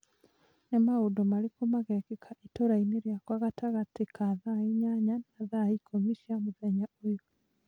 Nĩ maũndũ marĩkũ magekĩka itũũrainĩ rĩakwa gatagatĩ ka thaa inyanya na thaa ikũmi cia mũthenya ũyũ?